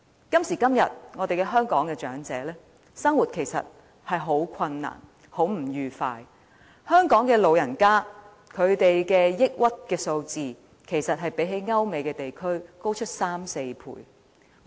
今時今日，香港長者的生活其實十分困難，十分不愉快，香港老人家的抑鬱指數相比歐美地區高出3至4倍。